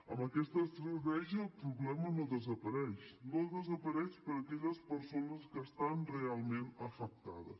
amb aquesta estratègia el problema no desapareix no desapareix per aquelles persones que estan realment afectades